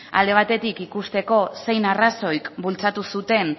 alde batetik ikusteko zein arrazoik bultzatu zuten